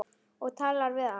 Og talar við hann.